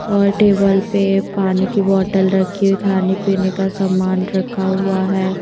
और टेबल पे पानी की बोतल रखी हुई खाने पीने का सामान रखा हुआ है।